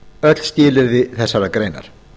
öll skilyrði þessarar greinar